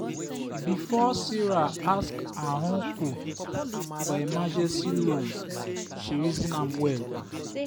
before sarah ask her uncle for emergency loan she reason am well.